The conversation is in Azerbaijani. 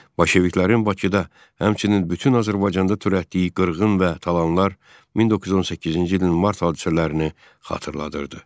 Bolşeviklərin Bakıda həmçinin bütün Azərbaycanda törətdiyi qırğın və talanlar 1918-ci ilin mart hadisələrini xatırladırdı.